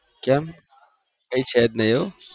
કેમ કઈ છે જ નહિ એવું